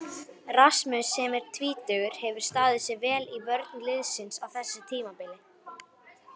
Rasmus sem er tvítugur hefur staðið sig vel í vörn liðsins á þessu tímabili.